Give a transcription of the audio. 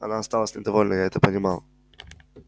она осталась недовольна я это понимал